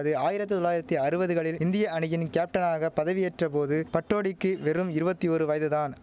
அது ஆயிரத்து தொள்ளாயிரத்தி அறுவதுகளில் இந்திய அணியின் கேப்டனாக பதவியேற்ற போது பட்டோடிக்கு வெறும் இருவத்தியொரு வயது தான்